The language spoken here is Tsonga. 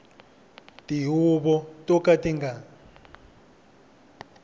tihuvo to ka ti nga